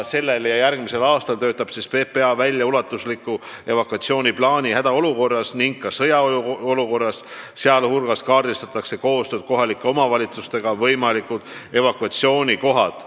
Sellel ja järgmisel aastal töötab PPA välja ulatusliku evakuatsiooniplaani hädaolukorras ning sõjaolukorras tegutsemiseks, sh kaardistatakse koostöös kohalike omavalitsustega võimalikud kohad, kuhu evakueeruda.